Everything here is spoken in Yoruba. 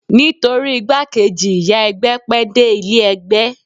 Nítorí igbákejì ìyá ẹgbẹ́ pẹ́ dé ilé ẹgbẹ́